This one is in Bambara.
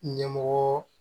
Ɲɛmɔgɔ